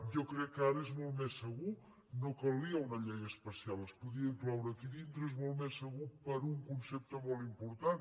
jo crec que ara és molt més segur no calia una llei especial es podia incloure aquí dintre és molt més segur per un concepte molt important